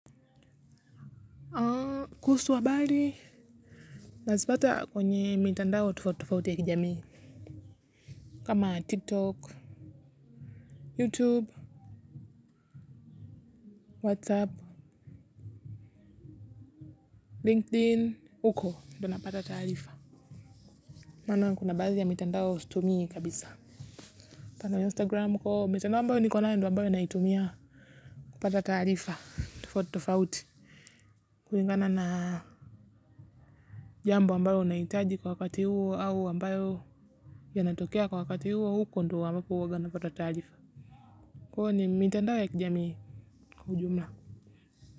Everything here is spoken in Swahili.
Kuhusu habari na zipata kwenye mitandao tofauti tofauti ya kijamii. Kama tiktok, youtube, whatsapp, linkedin, huko ndo napata taarifa maana kuna baadhi ya mitandao sitmuii kabisa mfano instagram kwo mitandao ambayo niko nayo ndo ambayo naitumia kupata taarifa tofauti tofauti. Kulingana na jambo ambalo unahitaji kwa wakati huo au ambayo yanatokea kwa wakati huo huko ndo ambapo huwaga napata taarifa kwahyo ni mitandao ya kijamii kwa ujumla.